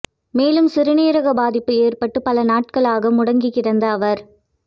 மேலும் சிறுநீரக பாதிப்பு ஏற்பட்டு பல நாட்களாக முடங்கிக் கிடந்த அவர்